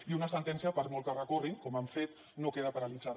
i una sentència per molt que hi recorrin com han fet no queda paralitzada